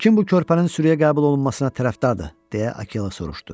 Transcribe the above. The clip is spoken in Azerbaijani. Kim bu körpənin sürüyə qəbul olunmasına tərəfdardır, deyə Akela soruşdu.